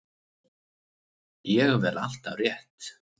Ég vel alltaf rétt.